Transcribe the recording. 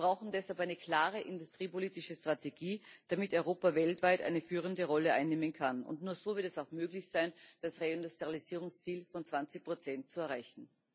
Wir brauchen deshalb eine klare industriepolitische Strategie, damit Europa weltweit eine führende Rolle einnehmen kann, und nur so wird es auch möglich sein, das Reindustrialisierungsziel von 20 zu erreichen.